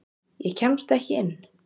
Ég kemst ekki inn.